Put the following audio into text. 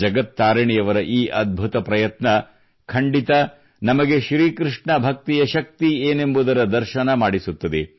ಜಗತ್ ತಾರಿಣಿಯವರ ಈ ಅದ್ಭುತ ಪ್ರಯತ್ನ ಖಂಡಿತ ನಮಗೆ ಶ್ರೀಕೃಷ್ಣ ಭಕ್ತಿಯ ಶಕ್ತಿ ಏನೆಂಬುದರ ದರ್ಶನ ಮಾಡಿಸುತ್ತದೆ